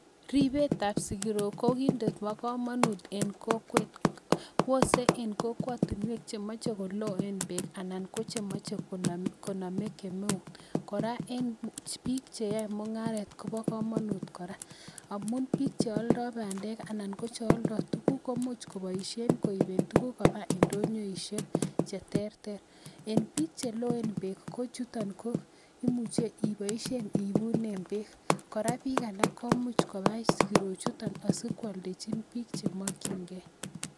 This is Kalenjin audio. Ribetab sigirok ko kit nebo komonut en kokwet. Ose en kokwotinek chemoche koloen beek anan ko che moche konome kemeut. Kora, en biik che yoe mung'aret ko bo komonut kora, amun bik che oldoi bandek anon ko che oldoi tuguk komuch koboisien koiben tuguk koba indonyoishek che terter. En biik che loen beek kochuton ko imuche iboisien iibunen beek. Kora bika alak ko much kobai sigirochuton asi koaldejin biik che mokinge.